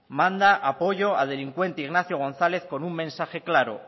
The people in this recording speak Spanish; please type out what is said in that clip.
manda apoyo al delincuente ignacio gonzález con un mensaje claro